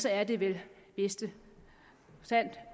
er det vel i bedste fald